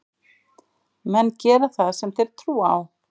Menn gera það sem þeir trúa á.